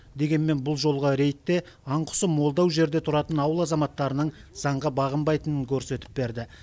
дегенмен бұл жолғы рейд те аң құсы молдау жерде тұратын ауыл азаматтарының заңға бағынбайтынын көрсетіп берді